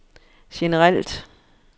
generelt